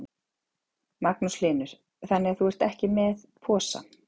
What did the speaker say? Magnús Hlynur: Þannig að þú ert ekki með posa?